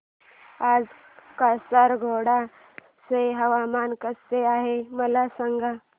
आज कासारगोड चे हवामान कसे आहे मला सांगा